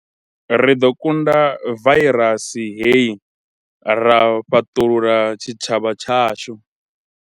Ri ḓo kunda vairasi hei ra fhaṱulula tshitshavha tshashu.